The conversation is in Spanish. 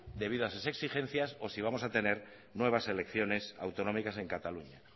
debido a esas exigencias o si vamos a tener nuevas elecciones autonómicas en cataluña